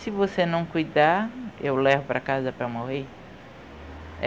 Se você não cuidar, eu levo para casa para morrer.